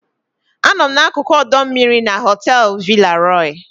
Anọ m n'akụkụ ọdọ mmiri na họteelu Villa Roy.